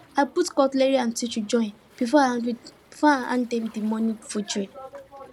i put cutlery and tissue join before i hand them the morning food tray